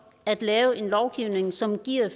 at lave en lovgivning som giver